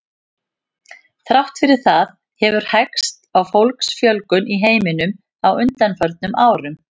Þrátt fyrir það hefur hægst á fólksfjölgun í heiminum á undanförnum árum.